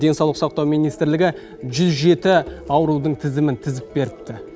денсаулық сақтау министрлігі жүз жеті аурудың тізімін тізіп беріпті